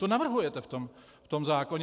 To navrhujete v tom zákonu!